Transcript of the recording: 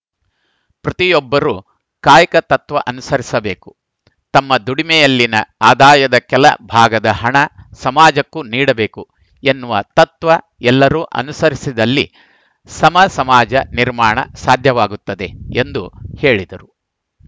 ಪ್ರತಿಯೊಬ್ಬರೂ ಕಾಯಕ ತತ್ವ ಅನುಸರಿಸಬೇಕು ತಮ್ಮ ದುಡಿಮೆಯಲ್ಲಿನ ಆದಾಯದ ಕೆಲ ಭಾಗದ ಹಣ ಸಮಾಜಕ್ಕೂ ನೀಡಬೇಕು ಎನ್ನುವ ತತ್ವ ಎಲ್ಲರೂ ಅನುಸರಿಸಿದಲ್ಲಿ ಸಮ ಸಮಾಜ ನಿರ್ಮಾಣ ಸಾಧ್ಯವಾಗುತ್ತದೆ ಎಂದು ಹೇಳಿದರು